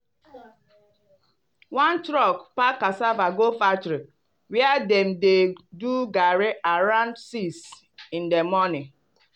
one truck pack cassava go factory where dem dey do garri around six in di morning.